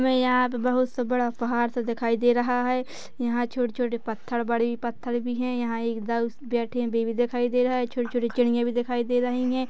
हमें यहाँ पे बोहोत सा बड़ा पहाड़ दिखाई दे रहा है यहाँ पर छोटे छोटे पत्थर बड़ी पत्थर भी है यहाँ एक दल बैठे हुए भी दिखाई दे रहा है छोटी छोटी चिड़िया भी दिखाई दे रही हैं।